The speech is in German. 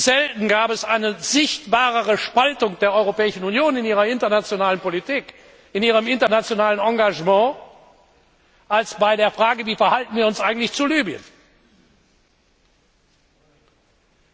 Selten gab es eine besser sichtbare Spaltung der Europäischen Union in ihrer internationalen Politik, in ihrem internationalen Engagement als bei der Frage Wie verhalten wir uns eigentlich gegenüber Libyen?